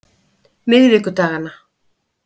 miðvikudaganna